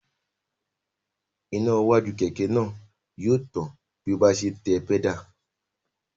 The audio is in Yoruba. Iná iwájú kẹ̀kẹ́ náà yóò tàn bí ọ bá ń se tẹ pẹ́dà